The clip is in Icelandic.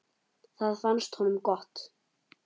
Það fannst honum gott.